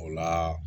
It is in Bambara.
O la